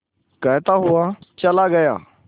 कहता हुआ चला गया